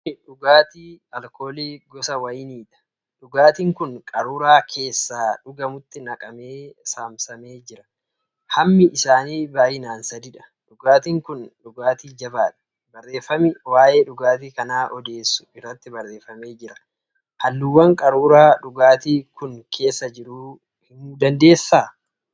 kuni dhugaatii alkoolii gosa Wayiniidha. Dhugaatiin kun qaruuraa keessa dhugamutti naqamee saamsamee jira. hammi isaanii baay'inaan sadiidha. Dhugaatiin kun dhugaatii jabaaadha. Barreeffami waa'ee dhugaatii kanaa odeessu irratti barreefamee jira. Halluuwwan qaruuraa dhugaatiin kun keessa jiru himuu dandeessaa?